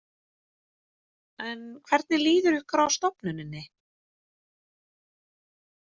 En hvernig líður ykkur á stofnuninni?